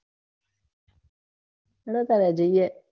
લ્યો ત્યારે જઈએ